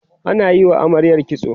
ana Yi wa amaryar kitso